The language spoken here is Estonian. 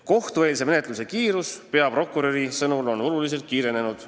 Kohtueelse menetluse kiirus on peaprokuröri sõnul oluliselt kasvanud.